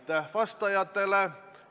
Aitäh vastajatele!